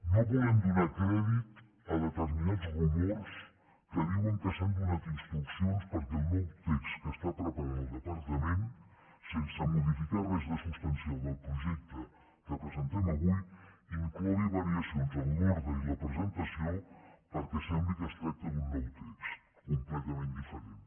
no volem donar crèdit a determinats rumors que diuen que s’han donat instruccions perquè el nou text que està preparant el departament sense modificar res de substancial del projecte que presentem avui inclogui variacions en l’ordre i la presentació perquè sembli que es tracta d’un nou text completament diferent